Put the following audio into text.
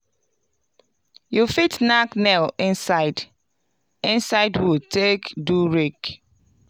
you fit nack nails inside inside wood take do rake.